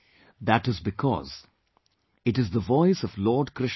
That is because it is the voice of Lord Krishna himself